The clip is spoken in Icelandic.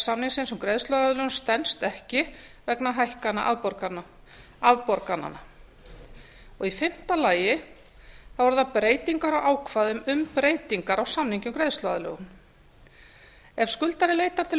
samningsins um greiðsluaðlögun stenst ekki vegna hækkana afborgananna í fimmta lagi eru það breytingar á ákvæðum um breytingar á samningi um greiðsluaðlögun ef skuldari leitar til